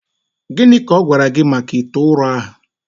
Gịnị ka ọ gwara gị maka ite ụrọ ahụ